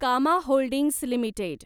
कामा holdings limited